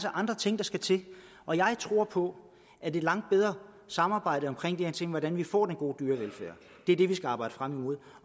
andre ting der skal til og jeg tror på at et langt bedre samarbejde om de her ting altså hvordan vi får den gode dyrevelfærd er det vi skal arbejde frem imod